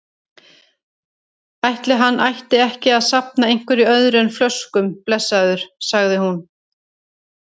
Ætli hann ætti ekki að safna einhverju öðru en flöskum, blessaður, sagði hún.